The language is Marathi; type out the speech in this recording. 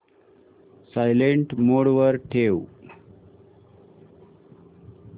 सायलेंट मोड वर ठेव